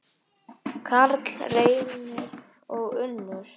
Karl Reynir og Unnur.